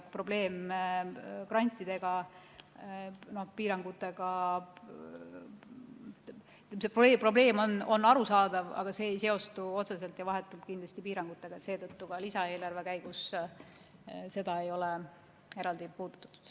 Probleem grantidega on arusaadav, aga see ei seostu otseselt ja vahetult piirangutega, seetõttu ei ole ka lisaeelarve koostamise käigus seda eraldi puudutatud.